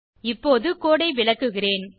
இப்போது கோடு ஐ விளக்குகிறேன்